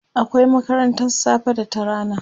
akwai makarantan safe da ta rana